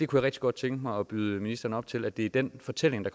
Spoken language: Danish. kunne rigtig godt tænke mig at byde ministeren op til at det er den fortælling der